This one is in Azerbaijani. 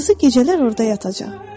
Quzu gecələr orada yatacaq.